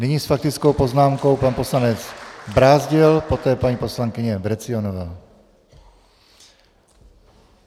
Nyní s faktickou poznámkou pan poslanec Brázdil, poté paní poslankyně Vrecionová.